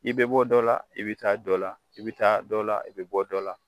I bɛ bɔ dɔ la, i bɛ taa dɔ la , i bɛ taa dɔ la i bɛ bɔ dɔ la!